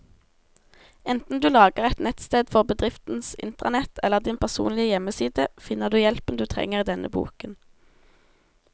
Enten du lager et nettsted for bedriftens intranett eller din personlige hjemmeside, finner du hjelpen du trenger i denne boken.